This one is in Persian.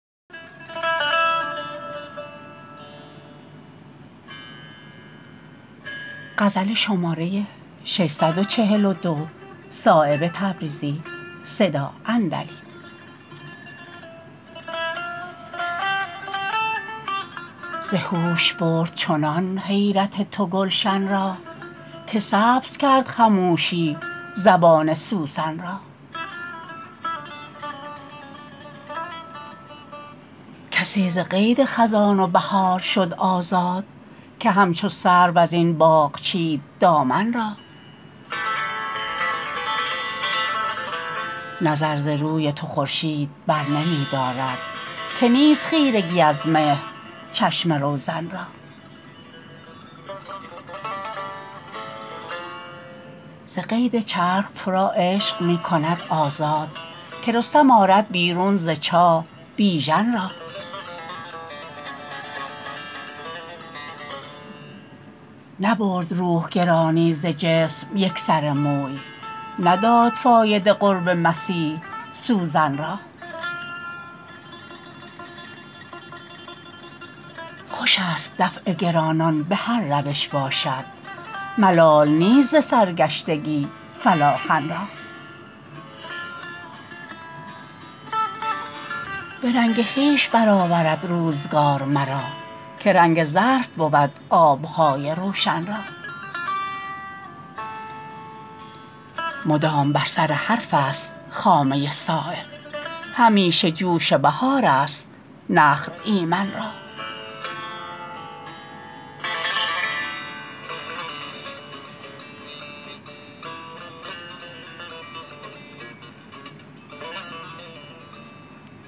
ز هوش برد چنان حیرت تو گلشن را که سبز کرد خموشی زبان سوسن را کسی ز قید خزان و بهار شد آزاد که همچو سرو ازین باغ چید دامن را نظر ز روی تو خورشید برنمی دارد که نیست خیرگی از مهر چشم روزن را ز قید چرخ ترا عشق می کند آزاد که رستم آرد بیرون ز چاه بیژن را نبرد روح گرانی ز جسم یک سر موی نداد فایده قرب مسیح سوزن را خوش است دفع گرانان به هر روش باشد ملال نیست ز سرگشتگی فلاخن را به رنگ خویش برآورد روزگار مرا که رنگ ظرف بود آبهای روشن را مدام بر سر حرف است خامه صایب همیشه جوش بهارست نخل ایمن را